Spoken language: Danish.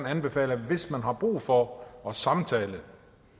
anbefale at hvis man har brug for at samtale og